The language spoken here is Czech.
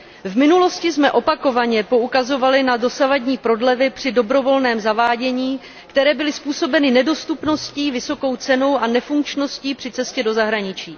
V minulosti jsme opakovaně poukazovali na dosavadní prodlevy při dobrovolném zavádění, které byly způsobeny nedostupností, vysokou cenou a nefunkčností při cestě do zahraničí.